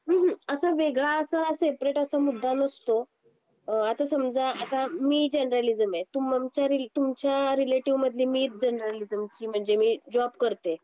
हम्म हम्म अस वेगळं असा सेपरेट असा मुद्दा नसतो आता समजा आता मी जर्नलिझम आहे तुमच्या रिलेटिव्ह मधली मी जर्नलिझमम्हणजे मी जॉबजॉब करते